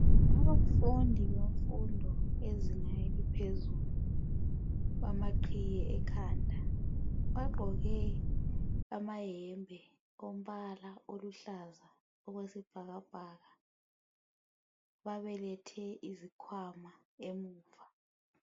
Izifundi bemfundo yezina eliphezulu, balamaqhiye ekhanda. Bagqoke amayembe alombala oluhlaza okwesibhakabhaka. Babelethe izikhwama emuva.